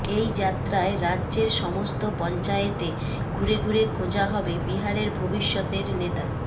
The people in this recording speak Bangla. এই যাত্রায় রাজ্যের সমস্ত পঞ্চায়েতে ঘুরে ঘুরে খোঁজা হবে বিহারের ভবিষ্যতের নেতা